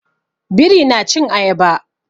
Biri na cin Ayaba.